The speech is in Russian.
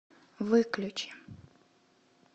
выключи